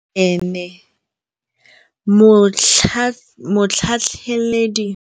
Motlhatlhaledi wa baeloji o neela baithuti tirwana ya mosola wa peniselene.